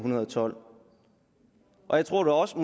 tolv jeg tror da også